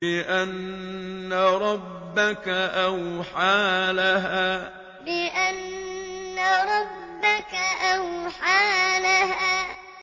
بِأَنَّ رَبَّكَ أَوْحَىٰ لَهَا بِأَنَّ رَبَّكَ أَوْحَىٰ لَهَا